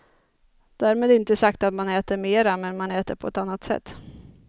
Därmed inte sagt att man äter mera men man äter på ett annat sätt.